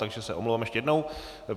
Takže se omlouvám ještě jednou.